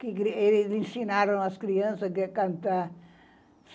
que ensinaram as crianças a cantar.